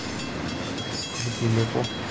ilkiliku